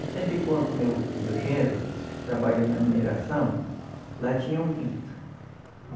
Eu sempre conto o meu, o meu genro, trabalhou na mineração, lá tinha um grito.